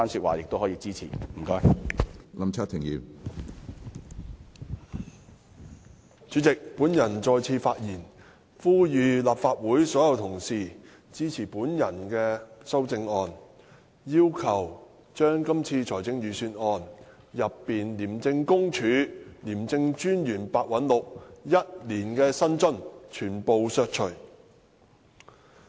主席，我再次起來發言，是為了呼籲立法會全體議員支持我建議在本年度財政預算案中削減廉政公署廉政專員白韞六全年薪津開支的修正案。